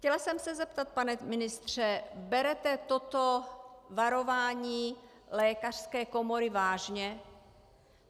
Chtěla jsem se zeptat, pane ministře: Berete toto varování lékařské komory vážně?